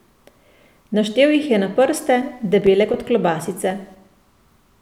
Naštel jih je na prste, debele kot klobasice.